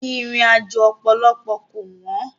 Ìrìnàjò ọ̀pọ̀lọpọ̀ kò wọ́n.